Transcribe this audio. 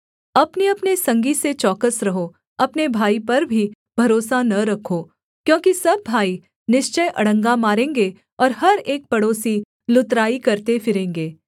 अपनेअपने संगी से चौकस रहो अपने भाई पर भी भरोसा न रखो क्योंकि सब भाई निश्चय अड़ंगा मारेंगे और हर एक पड़ोसी लुतराई करते फिरेंगे